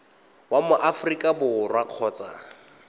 wa mo aforika borwa kgotsa